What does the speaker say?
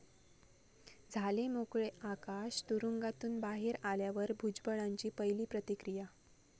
झाले मोकळे आकाश, तुरुंगातून बाहेर आल्यावर भुजबळांची पहिली प्रतिक्रिया